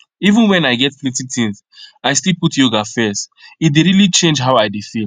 even when i get plenty things i still put yoga first e dey really change how i dey feel